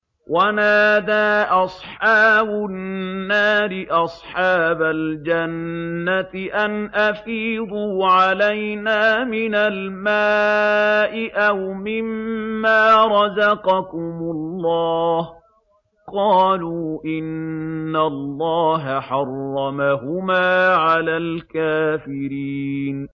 وَنَادَىٰ أَصْحَابُ النَّارِ أَصْحَابَ الْجَنَّةِ أَنْ أَفِيضُوا عَلَيْنَا مِنَ الْمَاءِ أَوْ مِمَّا رَزَقَكُمُ اللَّهُ ۚ قَالُوا إِنَّ اللَّهَ حَرَّمَهُمَا عَلَى الْكَافِرِينَ